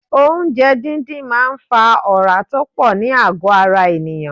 Oúnjẹ díndín máa ń fa ora tó pọ̀ ní àgọ ara ènìyàn.